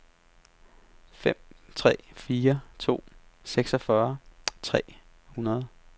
fem tre fire to seksogfyrre tre hundrede